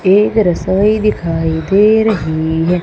एक रसोई दिखाई दे रहीं हैं।